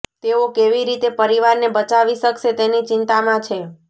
તેઓ કેવી રીતે પરિવારને બચાવી શકશે તેની ચિંતામાં છે